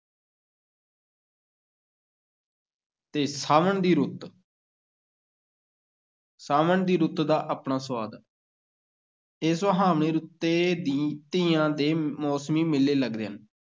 ਤੇ ਸਾਵਣ ਦੀ ਰੁੱਤ ਸਾਵਣ ਦੀ ਰੁੱਤ ਦਾ ਆਪਣਾ ਸੁਆਦ ਹੈ ਇਹ ਸੁਹਾਵਣੀ ਰੁੱਤੇ ਦੀ ਤੀਆਂ ਦੇ ਮੌਸਮੀ ਮੇਲੇ ਲੱਗਦੇ ਹਨ।